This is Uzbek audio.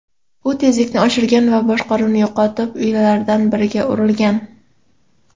U tezlikni oshirgan va boshqaruvni yo‘qotib, uylardan biriga urilgan.